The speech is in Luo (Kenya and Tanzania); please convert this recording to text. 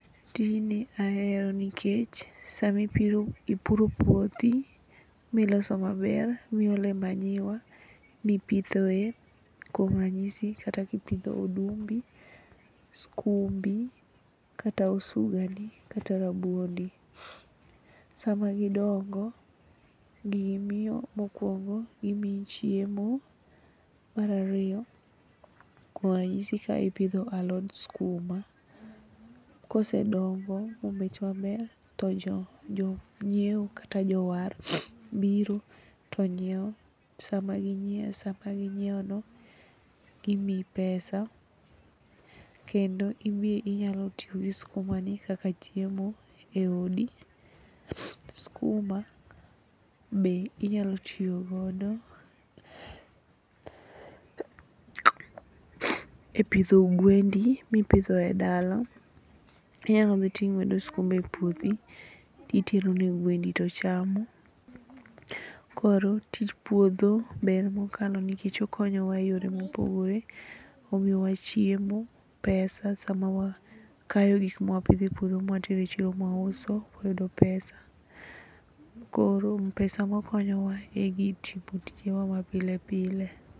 Tijni ahero nikech sama ipuro puothi miloso maber, miolo manyuwa mipitho e kuom ranyisi kata kipidho odumbi, skumbi kata osugani kata rabuondi, sama gidongo gimiyo mokuongo gimiyi chiemo, mar ariyo kuom ranyisi kipidho alot skuma kosedongo mobet maber to jonyiewo kata jowar biro to nyiew, sama ginyie no gimiyi pesa kendo inyalo tiyo gi skuma ni kaka chiemo e odi. Skuma be inyalo tiyo godo e pidho gwendi mipidho e dala, inyalo dhi tingwedo skuma e puothi titero ne gwendi to chamo. Koro tich puodho ber mokalo nikech okonyowa e yore ma opogore. Omiyowa chiemo, pesa, sama wakayo gikma wapidho e puodho mawatero chiemo ma wauso, wayudo pesa. Koro pesa bokonyowa e timo tije wa ma pile pile